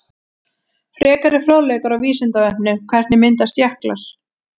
Frekari fróðleikur á Vísindavefnum: Hvernig myndast jöklar?